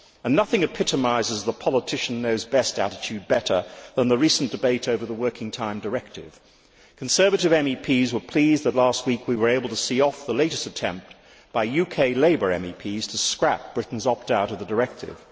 Nothing epitomises the politician knows best' attitude better than the recent debate over the Working Time Directive. Conservative MEPs were pleased last week to be able to see off the latest attempt by UK Labour MEPs to scrap Britain's opt out to the directive.